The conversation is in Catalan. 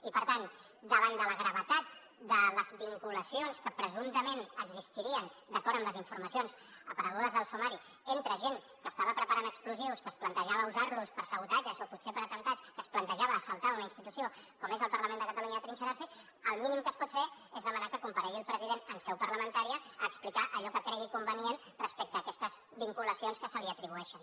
i per tant davant de la gravetat de les vinculacions que presumptament existirien d’acord amb les informacions aparegudes al sumari entre gent que estava preparant explosius que es plantejava usar los per sabotatges o potser per atemptats que es plantejava assaltar una institució com és el parlament de catalunya i atrinxerar s’hi el mínim que es pot fer és demanar que comparegui el president en seu parlamentària a explicar allò que cregui convenient respecte a aquestes vinculacions que se li atribueixen